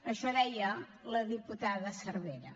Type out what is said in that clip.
això deia la diputada cervera